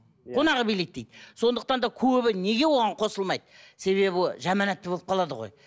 қонағы билейді дейді сондықтан да көбі неге оған қосылмайды себебі жаман атты болып қалады ғой